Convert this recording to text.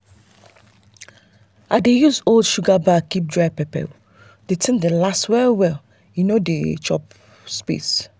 i dey use old sugar bag keep dry pepper the thing dey last well and no dey chop space.